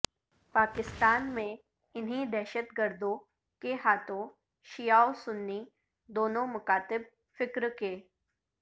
پاکستان میں انہی دہشت گردوں کے ہاتھوں شیعہ و سنی دونوں مکاتب فکر کے